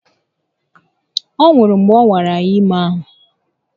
Ọ nwụrụ mgbe ọ nwara iha ime ahụ